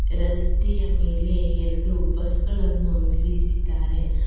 ರಸ್ತೆಯ ಮೇಲೆ ಎರಡು ಬಸ್ ಗಳನ್ನು ನಿಲ್ಲಿಸಿದ್ದಾರೆ.